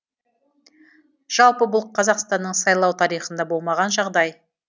жалпы бұл қазақстанның сайлау тарихында болмаған жағдай